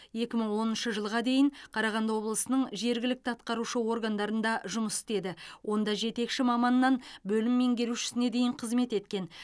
екі мың оныншы жылға дейін қарағанды облысының жергілікті атқарушы органдарында жұмыс істеді онда жетекші маманнан бөлім меңгерушісіне дейін қызмет еткен